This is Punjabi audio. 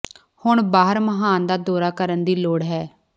ਹੁਣ ਬਾਹਰ ਮਹਾਨ ਦਾ ਦੌਰਾ ਕਰਨ ਦੀ ਲੋੜ ਹੈ